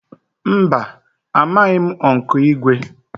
Mba, amaghị m Ụnkụ Igwe